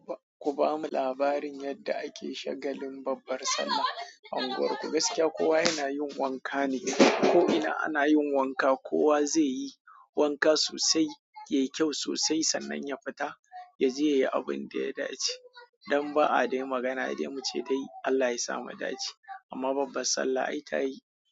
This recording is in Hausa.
Ku ba mu labarin yadda ake shagalin babbar sallah a unguwarku. Gaskiya kowa yana yin wanka ne, ko ina ana yin wanka, kowa zai yi wanka sosai, yayi kyau sosai sannan ya fita ya je ya yi abin da ya dace. Dan ba'a dai magana dai muce dai Allah ya sa mu dace. Amma babbar Sallah ai ta yi.